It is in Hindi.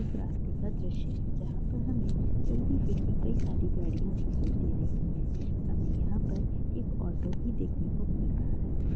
एक रास्ते का दृश्य है जहाँ पर हमें चलती-फिरती कई सारी गाड़ियां दिखाई दे रही है हमें यहाँ पर एक ऑटो भी देखने को मिल रहा है।